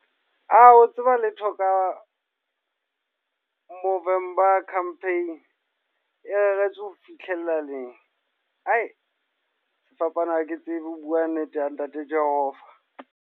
Wa tseba letho ka Movember Campaign. E reretswe ho fihlella neng. Sefapano ha ke tsebe ho bua nnete ya ntate Jehova.